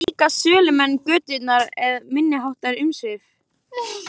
Eru þetta líka sölumenn götunnar með minniháttar umsvif?